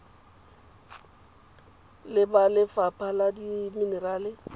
le ba lefapha la dimenerale